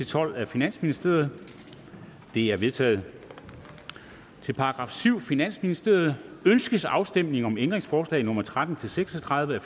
tolv af finansministeren de er vedtaget til § syvende finansministeriet ønskes afstemning om ændringsforslag nummer tretten til seks og tredive af